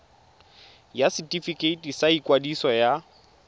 ya setefikeiti sa ikwadiso ya